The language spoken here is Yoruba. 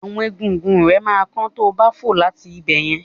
Àwọn egungun rẹ ma kán tobá fò láti ibẹ̀yẹn.